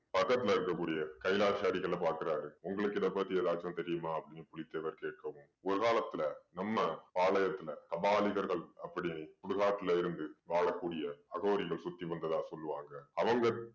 பக்கத்துல இருக்க கூடிய கைலாச அடிகளை பாக்குறாரு. உங்களுக்கு இதைப் பத்தி ஏதாச்சும் தெரியுமா அப்படீன்னு புலித்தேவர் கேட்கவும் ஓரு காலத்துல நம்ம பாளையத்துல அபாலிகர்கள் அப்படி சுடுகாட்டில இருந்து வாழக்கூடிய அகோரிகள் சுத்தி வந்ததா சொல்லுவாங்க. அவங்க